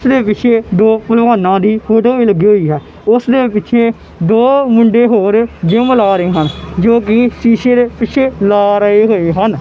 । ਜਿਸ ਦੇ ਪਿੱਛੇ ਦੋ ਪਹਿਲਵਾਨਾਂ ਦੀ ਫੋਟੋ ਵੀ ਲੱਗੀ ਹੋਈ ਹੈ ਉਸ ਦੇ ਪਿੱਛੇ ਦੋ ਮੁੰਡੇ ਹੋਰ ਜਿਮ ਲਾ ਰਹੇ ਹਨ ਜੋ ਕਿ ਸ਼ੀਸ਼ੇ ਦੇ ਪਿੱਛੇ ਲਾ ਰਹੇ ਨੇ ਹਨ।